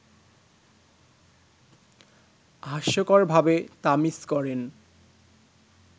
হাস্যকরভাবে তা মিস করেন